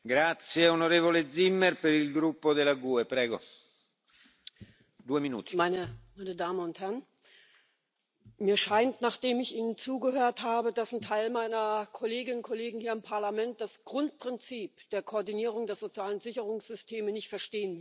Herr Präsident, meine Damen und Herren! Mir scheint, nachdem ich Ihnen zugehört habe, dass ein Teil meiner Kolleginnen und Kollegen hier im Parlament das Grundprinzip der Koordinierung der sozialen Sicherungssysteme nicht verstehen will.